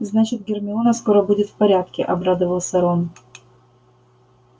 значит гермиона скоро будет в порядке обрадовался рон